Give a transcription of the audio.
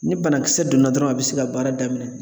Ni banakisɛ donna dɔrɔn a be se ka baara daminɛ